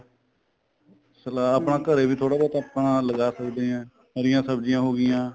salad ਘਰੇ ਵੀ ਥੋੜਾ ਬਹੁਤਾ ਆਪਣਾ ਲਗਾ ਸਕਦੇ ਆ ਹਰੀਆਂ ਸਬਜੀਆਂ ਹੋ ਗਈਆਂ